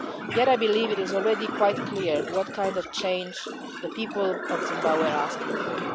Yet I believe it is already quite clear what kind of change the people of Zimbabwe are asking for.